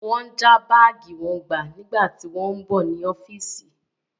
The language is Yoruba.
Wọ́n já báàgì wọn gbà nígbà tí wọ́n ń bọ̀ ní ọ́fíìsì.